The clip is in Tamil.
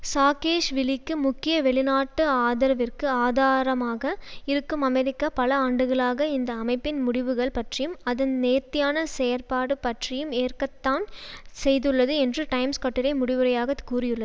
சாகேஷ்விலிக்கு முக்கிய வெளிநாட்டு ஆதரவிற்கு ஆதாரமாக இருக்கும் அமெரிக்கா பல ஆண்டுகளாக இந்த அமைப்பின் முடிவுகள் பற்றியும் அதன் நேர்த்தியான செயற்பாடு பற்றியும் ஏற்கத்தான் செய்துள்ளது என்று டைம்ஸ் கட்டுரை முடிவுரையாக கூறியுள்ள